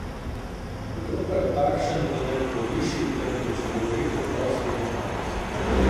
Kdo pa je takšen, da ne okoliši, temveč govori preprosto in naravnost.